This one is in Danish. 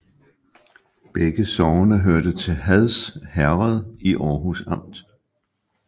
Begge sogne hørte til Hads Herred i Aarhus Amt